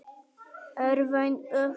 er vaun öfund